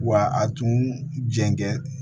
Wa a tun jɛn